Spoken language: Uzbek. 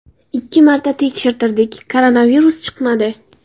Ikki marta tekshirtirdik koronavirus chiqmadi.